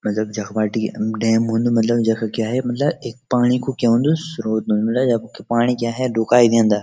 मतलब जख बाटी डैम हुंदू मतलब जख क्या है मतलब एक पाणी कु क्या हुंदू स्रोत हुंदू मले यख पाणी क्या है रुका दियंदा।